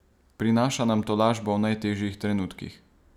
Prinaša nam tolažbo v najtežjih trenutkih.